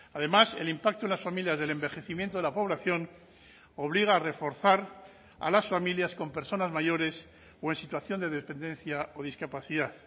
además el impacto en las familias del envejecimiento de la población obliga a reforzar a las familias con personas mayores o en situación de dependencia o discapacidad